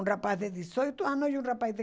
Um rapaz de dezoito anos e um rapaz de